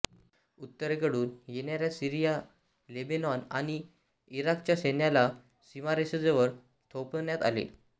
उत्तरेकडून येणाऱ्या Syria Lebanon आणि इराकच्या सैन्याला सीमारेषेजवळ थोपवण्यात आले